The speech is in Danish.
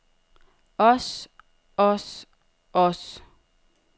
os os os